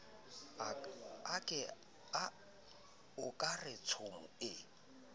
o ka re tshomo ee